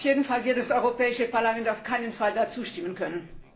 Auf jeden Fall wird das Europäische Parlament dem auf keinen Fall zustimmen können.